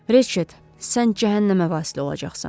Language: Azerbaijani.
Reçet, sən cəhənnəmə vasilə olacaqsan.